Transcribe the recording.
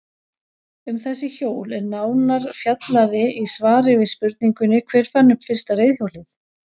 Um þessi hjól er nánar fjallaði í svari við spurningunni Hver fann upp fyrsta reiðhjólið?